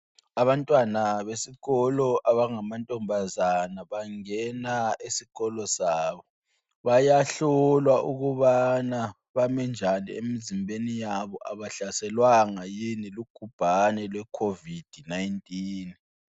Abantwana besikolo abangamantombazana bangena esikolo sabo. Bayahlolwa ukubana bame njani emzimbeni yabo, abahlaselwanga yini lugubhani lwe COVID-19.